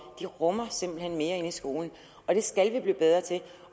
de rummer simpelt hen mere i skolen og det skal vi blive bedre til